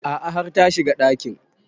A'a har ta shiga ɗakin